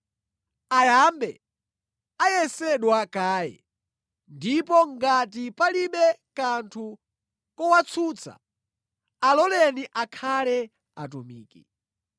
Ayambe ayesedwa kaye, ndipo ngati palibe kanthu kowatsutsa, aloleni akhale atumiki.